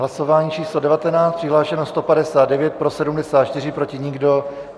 Hlasování číslo 19, přihlášeno 159, pro 74, proti nikdo.